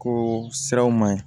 Ko siraw man ɲi